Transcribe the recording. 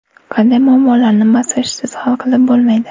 Qanday muammolarni massajsiz hal qilib bo‘lmaydi?